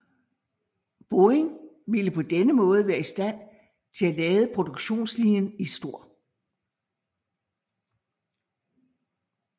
Boeing ville på denne måde være i stand til at lade produktionslinjen i St